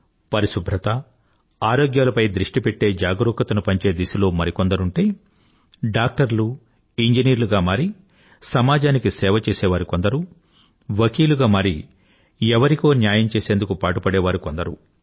పరిశుభ్రత ఆరోగ్యాలపై దృష్టి పెట్టి జాగురుకతని పంచే దిశలో కొందరుంటే డాక్టర్లు ఇంజనీర్లు గా మారి సమాజానికి సేవ చేసేవారు కొందరు వకీలుగా మారి ఎవరికో న్యాయం చేసేందుకు పాటుపడేవారు కొందరు